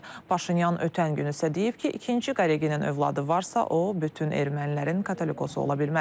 Paşinyan ötən gün isə deyib ki, ikinci Qareginin övladı varsa, o bütün ermənilərin Katolikosu ola bilməz.